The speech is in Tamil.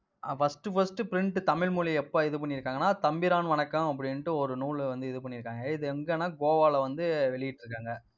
ஆஹ் first first print தமிழ் மொழிய எப்ப இது பண்ணியிருக்காங்கன்னா, தம்பிரான் வணக்கம், அப்படின்னுட்டு ஒரு நூலை வந்து இது பண்ணியிருக்காங்க. இது எங்கன்னா கோவால வந்து வெளியிட்டிருக்காங்க.